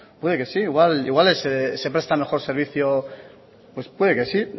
puede que sí igual se presta mejor servicio puede que sí